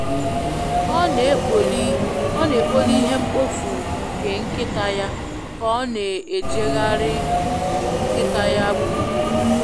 Ọ n'ekpoli ihe mkpofu nke nkita ya ka ọ na ejegharị nkịta ya gburugburu